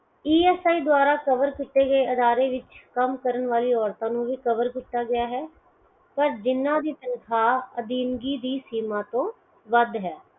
E S I ਦਵਾਰਾ cover ਕੀਤੇ ਗਏ ਅਦਾਰੇ ਵਿੱਚ ਕੰਮ ਕਰਨ ਵਾਲੀ ਔਰਤਾਂ ਨੂੰ ਵੀ cover ਕੀਤਾ ਗਿਆ ਹੈ ਪਰ ਜਿਨਾ ਦੀ ਤਨਖਾਹ ਅਧੀਨਗੀ ਦੀ ਸੀਮਾ ਤੋਂ ਵੱਧ ਹੈ